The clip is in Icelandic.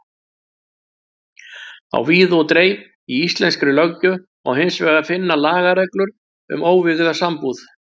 Á víð og dreif í íslenskri löggjöf má hins vegar finna lagareglur um óvígða sambúð.